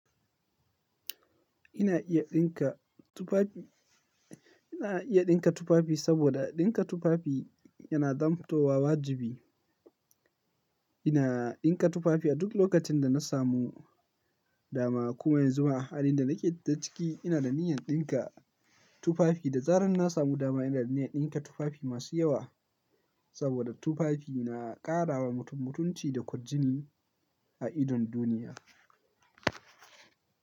Ina iya ɗinka tufafi, ina iya ɗinka tufafi saboda ɗinka tufafi yana zamantawa wajibi. Ina ɗinka tufafi a duk lokacin da na samu dama. Kuma yanzu a halin da nake ciki, ina da niyyar ɗinka tufafi. Da tsarin na samu dama, ina da niyyar ɗinka tufafi masu yawa saboda tufafi na ƙara wa mutum mutunci da kwarjini a idon duniya.